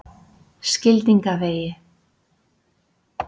Skildingavegi